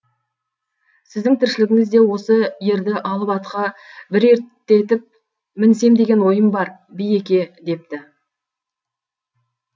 сіздің тіршілігіңіз де осы ерді алып атқа бір ерттетіп мінсем деген ойым бар биеке депті